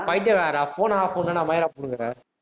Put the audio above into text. அட பைத்தியக்காரா, phone off ஆகபோதுன மயிர புடுங்கற